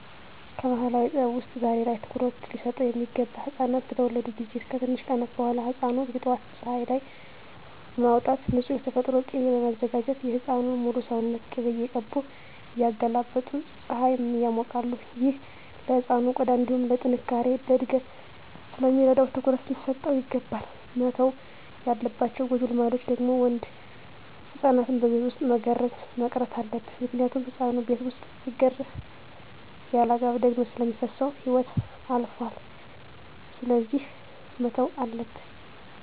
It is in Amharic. ከባህላዊ ጥበብ ውስጥ ዛሬ ላይ ትኩሩት ሊሰጠው ሚገባ ህፃናት በተወለዱ ጊዜ ከትንሽ ቀናት በኋላ ህፃኑን የጠዋት ፀሀይ ላይ በማውጣት ንፁህ የተፈጥሮ ቂቤ በማዘጋጀት የህፃኑን ሙሉ ሰውነት ቅቤ እየቀቡ እያገላበጡ ፀሀይ ያሞቃሉ። ይህ ለህፃኑ ቆዳ እንዲሁም ለጥነካሬ፣ ለእድገት ስለሚረዳው ትኩረት ሊሰጠው ይገባል። መተው ያለባቸው ጎጂ ልማዶች ደግሞ ወንድ ህፃናትን በቤት ውስጥ መገረዝ መቅረት አለበት ምክንያቱም ህፃኑ ቤት ውስጥ ሲገረዝ ያለአግባብ ደም ስለሚፈስሰው ህይወቱ ያልፋል ስለዚህ መተው አለበት።